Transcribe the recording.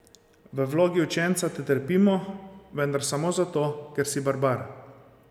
V vlogi učenca te trpimo, vendar samo zato, ker si barbar.